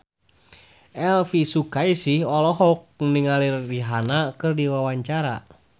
Elvy Sukaesih olohok ningali Rihanna keur diwawancara